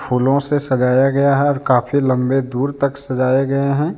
फूलों से सजाया गया है और काफी लंबे दूर तक सजाए गए हैं।